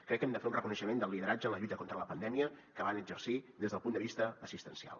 crec que hem de fer un reconeixement del lideratge en la lluita contra la pandèmia que van exercir des del punt de vista assistencial